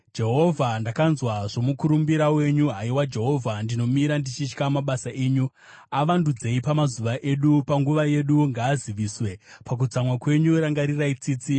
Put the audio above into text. Jehovha, ndakanzwa zvomukurumbira wenyu; haiwa Jehovha, ndinomira ndichitya mabasa enyu. Avandudzei pamazuva edu, panguva yedu ngaaziviswe; pakutsamwa kwenyu rangarirai tsitsi.